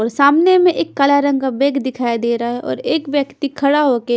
और सामने में एक काला रंग का बैग दिखाई दे रहा है और एक व्यक्ति खड़ा होके--